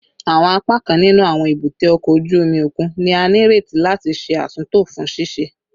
Awọn apakan ninu awọn ebute oko oju omi okun ni a nireti lati ṣe atunto fun ṣiṣe